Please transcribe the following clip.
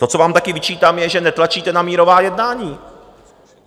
To, co vám také vyčítám, je, že netlačíte na mírová jednání.